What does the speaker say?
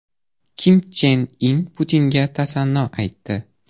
Kim Chen In Putinga tasanno aytdi.